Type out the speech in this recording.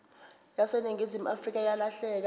yaseningizimu afrika yalahleka